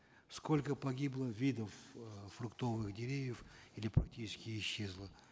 сколько погибло видов э фруктовых деревьев или практически исчезло